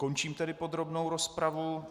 Končím tedy podrobnou rozpravu.